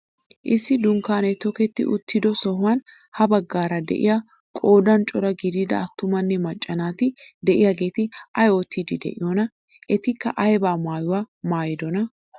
Issi dunkkaanee tokketti uttido sohuwaan ha baggaara de'iyaa qoodan cora gidida attumanne macca naati de'iyaageti ayi oottiidi de'iyoonaa? Etikka ayba maayuwaa maayidonaa?